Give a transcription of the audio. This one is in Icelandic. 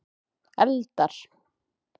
eldar